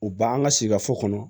U b'an ka sikaso kɔnɔ